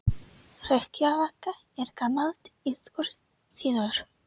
Hrekkjavaka er gamall írskur siður.